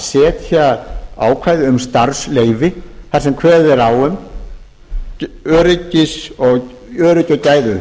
setja ákvæði um starfsleyfi þar sem kveðið er á um öryggi og gæði